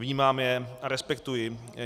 Vnímám je a respektuji.